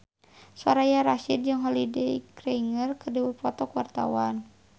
Soraya Rasyid jeung Holliday Grainger keur dipoto ku wartawan